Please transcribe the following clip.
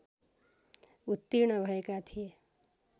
उत्तीर्ण भएका थिए